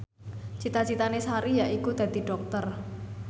cita citane Sari yaiku dadi dokter